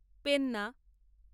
Penna